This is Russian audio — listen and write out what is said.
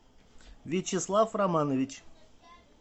вячеслав романович